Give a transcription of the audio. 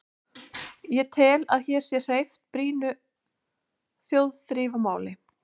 Ég tel, að hér sé hreyft brýnu þjóðþrifamáli.